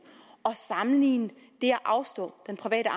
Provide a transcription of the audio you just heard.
og sammenligne det at afstå den private